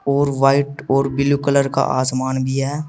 और वाइट और blue colour का आसमान भी है।